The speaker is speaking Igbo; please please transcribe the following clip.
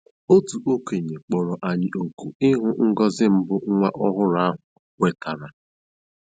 Otu okenye kpọrọ anyị òkù ịhụ ngọzi mbụ nwa ọhụrụ ahụ nwetara.